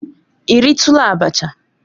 Ị ritula abacha?